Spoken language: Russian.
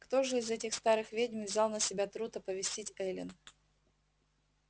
кто же из этих старых ведьм взял на себя труд оповестить эллин